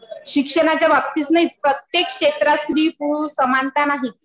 शिक्षणाच्या बाबतीतच नाही प्रत्येक क्षेत्रात स्त्री पुरुष समानता नाही.